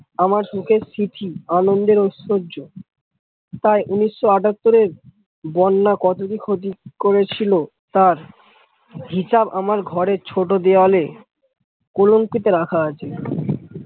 আমার সুখের চিঠি আনন্দের ঐ শ্বর্যয় প্রায় উনিশ আটাত্তর এর বন্যা কত কি ক্ষতি করেছিল তার হিসাব আমার ঘরের ছোট দেওয়ালে কুলঙ্কিতে রাখা আছে।